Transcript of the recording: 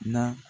Na